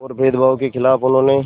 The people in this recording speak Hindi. और भेदभाव के ख़िलाफ़ उन्होंने